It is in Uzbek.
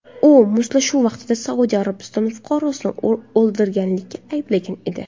U mushtlashuv vaqtida Saudiya Arabistoni fuqarosini o‘ldirganlikda ayblangan edi.